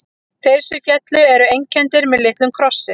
Þeir sem féllu eru einkenndir með litlum krossi.